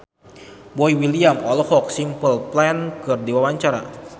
Boy William olohok ningali Simple Plan keur diwawancara